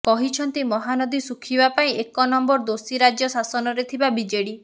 କହିଛନ୍ତି ମହାନଦୀ ଶୁଖିବା ପାଇଁ ଏକ ନମ୍ବର ଦୋଷୀ ରାଜ୍ୟ ଶାସନରେ ଥିବା ବିଜେଡି